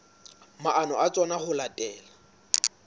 maano a tsona ho latela